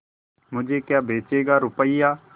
मुझे क्या बेचेगा रुपय्या